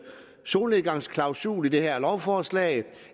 solnedgangsklausul i det her lovforslag